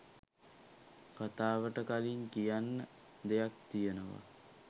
කතාවට කලින් කියන්න දෙයක් තියෙනවා.